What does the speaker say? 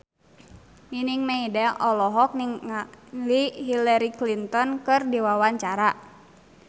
Nining Meida olohok ningali Hillary Clinton keur diwawancara